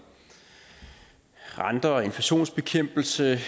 renter inflationsbekæmpelse